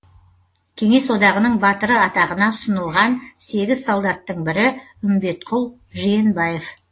кеңес одағының батыры атағына ұсынылған сегіз солдаттың бірі үмбетқұл жиенбаев